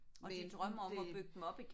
Men det